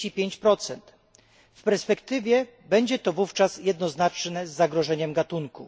35. W perspektywie będzie to wówczas jednoznaczne z zagrożeniem gatunku.